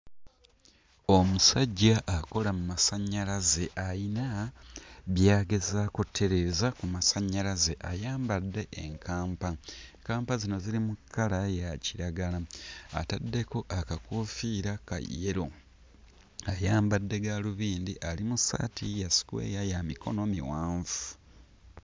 Omusajja akola mmasannyalaze ayina by'agezaako ottereeza ku masannyalaze. Ayambadde enkampa, nkampa zino ziri mu kkala ya kiragala ataddeko akakoofiira ka yellow ayambadde gaalubindi ali mu ssaati ya sukweya ya mikono miwanvu.